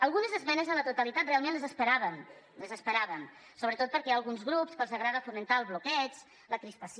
algunes esmenes a la totalitat realment les esperàvem sobretot perquè hi ha alguns grups que els agrada fomentar el bloqueig la crispació